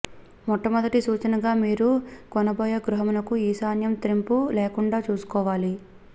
మొట్ట మొదటి సూచనగా మీరు కొనబోయే గృహమునకు ఈశాన్యం త్రెంపు లేకుండా చూసుకోవాలి